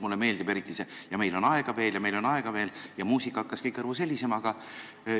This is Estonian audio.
Mulle meeldib eriti see "ja meil on aega veel, meil on aega veel" – muusika hakkaski kõrvus helisema.